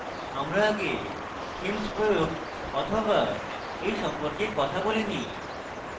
আমরা আগে themes প্রয়োগ বা এই সম্পর্কে কথা বলিনি